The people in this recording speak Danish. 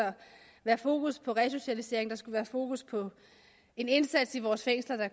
være fokus på resocialisering der skulle være fokus på en indsats i vores fængsler der